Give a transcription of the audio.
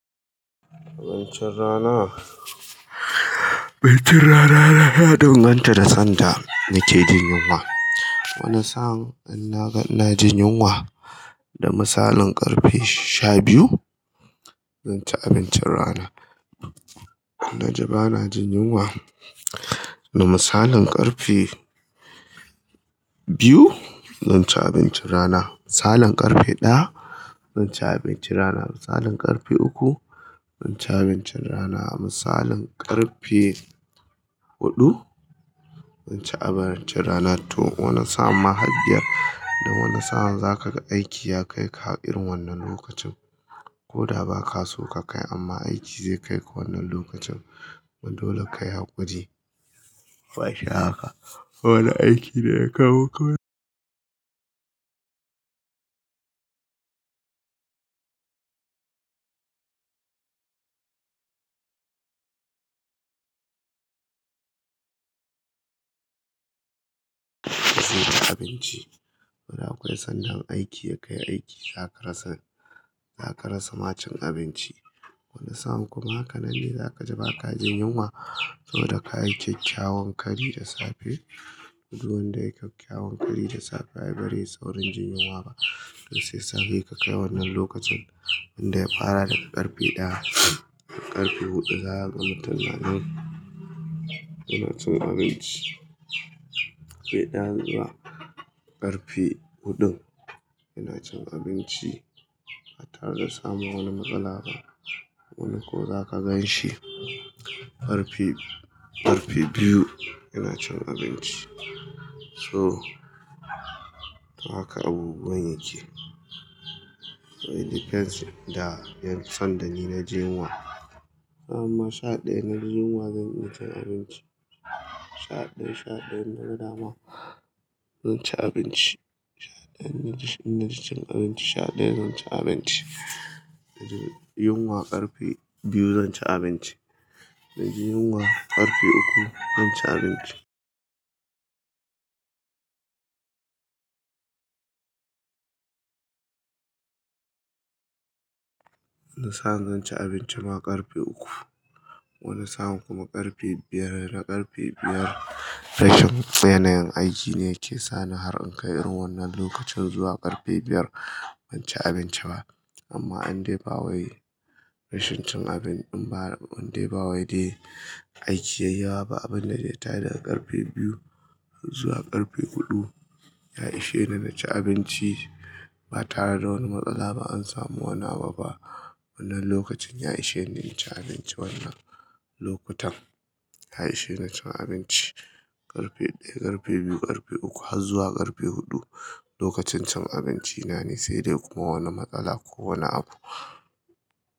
Abincin rana? Abincin rana na ya danganta da sanda nike jin yunwa. Wani sa'an in na ga ina jin yunwa da misalin ƙarfe sha biyu, zan ci abincin rana. In na ji bana jin yunwa da misalin ƙarfe biyu, zan ci abincin rana. Misalin ƙarfe ɗaya, zan ci abincin rana. Misalin ƙarfe uku, zan ci abincin rana. Misalin ƙarfe huɗu, zan ci abincin rana. To, wane sa'an ma har biyar dan wane sa'an zaka ga aiki ya kai ka har irin wannan lokacin. Ko da ba ka so ka kai amma aiki zai kai ka wannan lokacin. Kuma dole kayi haƙuri. Wai sha haka. Wane aiki ne ya kawo ka zuwa abinci. Da akwai sanda aiki ya kai aiki zaka rasa, zaka rasa ma cin abinci. Wani sa'an kuma, hakanan ne zaka ji ba ka jin yunwa saboda ka yi kyakkyawan kari da safe. Du wanda yayi kyakkyawan kari da safe ai bareyi saurin jin yunwa ba. To sai safe ka kai wannan lokacin, wanda ya fara daga ƙarfe ɗaya. Ƙarfe huɗu za ka ga mutun nanan yana cin abinci. Feɗa zuwa ƙarfe huɗun, ina cin abinci ba tare da samun wani matsala ba. Wani ko zaka gan shi ƙarfe, ƙarfe biyu yana cin abinci. So, haka abubuwan yake. It depends da yan- sanda ni na ji yunwa. Amma sha ɗaya in na jin yunwa zan iya cin abinci. Sha ɗaya, sha ɗaya in na ga dama zan ci abinci. Sha ɗaya in na jin abinci, sha ɗaya zan ci abinci. Na ji yunwa ƙarfe biyu zan ci abinci. Na ji yunwa ƙarfe uku zan ci abinci. Wani sa'in zan ci abinci ma ƙarfe uku. Wani sa'an kuma ƙarfe biyar. Na ƙarfe biyar rashin, yanayin aiki ne yake sani har in kai irin wannan lokacin zuwa ƙarfe biyar ban ci abinci ba. Amma in dai ba wai rashin cin abinci ba, in dai ba wai dai aiki ya yi yawa ba, abin da zai tayar daga ƙarfe biyu zuwa ƙarfe huɗu ya ishe ni na ci abinci ba tare da wani matsala ba. An samu wani abu ba. Wannan lokacin ya ishe ni na ci abinci wannan lokutan. Ya ishe ni cin abinci ƙarfe ɗaya, ƙarfe biyu, ƙarfe uku har zuwa ƙarfe huɗu. Lokacin cin abinci na ne sai dai kuma wani matsala ko wani abu.